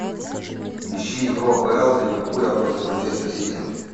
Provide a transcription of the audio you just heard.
ищи игру апл ливерпуля против манчестер сити